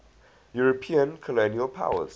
european colonial powers